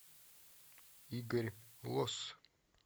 игорь лосс